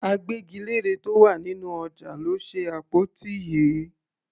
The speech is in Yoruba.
Agbẹ́gilére tó wà nínú ọjà ló ṣe àpótí yìí.